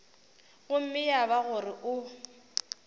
gomme ya ba gore o